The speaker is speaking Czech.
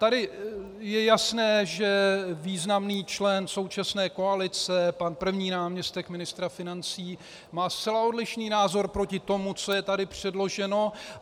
Tady je jasné, že významný člen současné koalice, pan první náměstek ministra financí, má zcela odlišný názor proti tomu, co je tady předloženo.